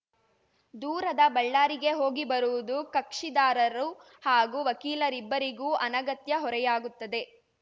ದೂರದ ಬಳ್ಳಾರಿಗೆ ಹೋಗಿ ಬರುವುದು ಕಕ್ಷಿದಾರರು ಹಾಗೂ ವಕೀಲರಿಬ್ಬರಿಗೂ ಅನಗತ್ಯ ಹೊರೆಯಾಗುತ್ತದೆ